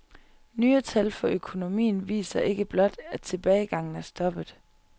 Nye tal for økonomien viser ikke blot, at tilbagegangen er stoppet.